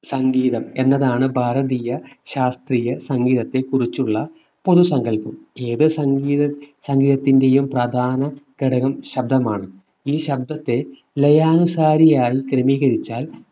സംഗീതം എന്നതാണ് ഭാരതീയ ശാസ്ത്രീയ സംഗീതത്തെ കുറിച്ചുള്ള പൊതു സങ്കല്പം ഏത് സംഗീത സംഗീതത്തിന്റെയും പ്രധാന ഘടകം ശബ്ദമാണ് ഈ ശബ്ദത്തെ ലയാനുസാരിയായി ക്രമീകരിച്ചാൽ